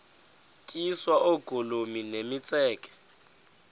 tyiswa oogolomi nemitseke